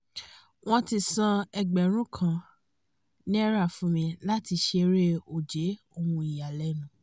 wọ́n ti san ẹgbẹ̀rún kan náírà fún mi rí láti ṣeré ó jẹ́ ohun ìyàlẹ́nu